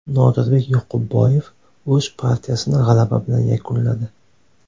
Nodirbek Yoqubboyev o‘z partiyasini g‘alaba bilan yakunladi.